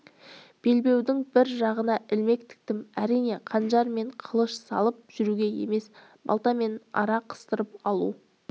белбеудің бір жағына ілмек тіктім әрине қанжар мен қылыш салып жүруге емес балта мен ара қыстырып алу